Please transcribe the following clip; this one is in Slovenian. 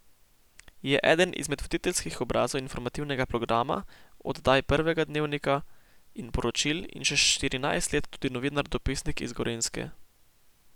Je eden izmed voditeljskih obrazov Informativnega programa, oddaj Prvega dnevnika in Poročil in že štirinajst let tudi novinar dopisnik iz Gorenjske.